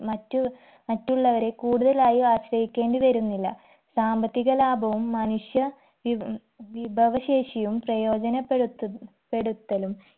മറ്റു മറ്റുള്ളവരെ കൂടുതലായി ആശ്രയിക്കേണ്ടി വരുന്നില്ല സാമ്പത്തിക ലാഭവും മനുഷ്യ വി വിഭവശേഷിയും പ്രയോജനപ്പെടുത്തു പ്പെടുത്തലും